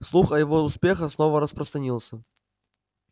слух о его успехах снова распространился